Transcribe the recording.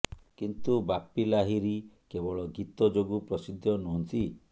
କିନ୍ତୁ ବାପି ଲାହିରୀ କେବଳ ଗୀତ ଯୋଗୁଁ ପ୍ରସିଦ୍ଧ ନୁହଁନ୍ତି